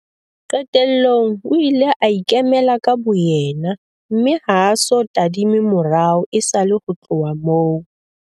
Qetellong o ile a ikemela ka boyena mme ha a so tadime morao esale ho tloha moo.